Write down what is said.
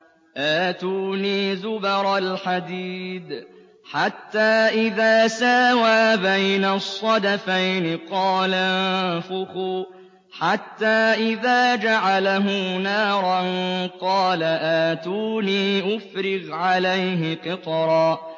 آتُونِي زُبَرَ الْحَدِيدِ ۖ حَتَّىٰ إِذَا سَاوَىٰ بَيْنَ الصَّدَفَيْنِ قَالَ انفُخُوا ۖ حَتَّىٰ إِذَا جَعَلَهُ نَارًا قَالَ آتُونِي أُفْرِغْ عَلَيْهِ قِطْرًا